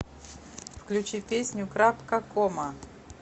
включи песню крапкакома